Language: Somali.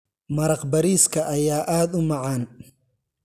Maraq bariiska ayaa aad u macaan.